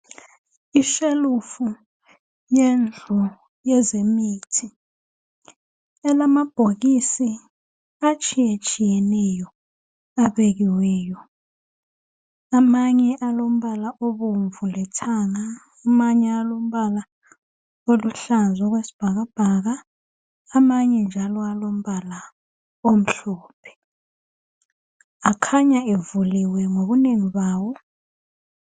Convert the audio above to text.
Ishelufu yendlu yezemithi. Elamabhokisi atshiyetshiyeneyo, abekiweyo. Amanye alombala obomvu lethanga. Amanye alombala alujhlaza okwesibhakabhaka. Amanye njalo alombala omhlophe. Akhanya evuliwe ngobunengi bawo.